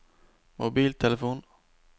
mobiltelefon